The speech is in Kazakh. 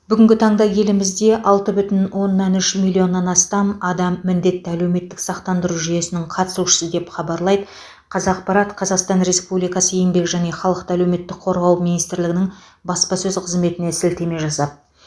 бүгінгі таңда елімізде алты бүтін оннан үш миллионнан астам адам міндетті әлеуметтік сақтандыру жүйесінің қатысушысы деп хабарлайды қазақпарат қазақстан республикасы еңбек және халықты әлеуметтік қорғау министрлігінің баспасөз қызметіне сілтеме жасап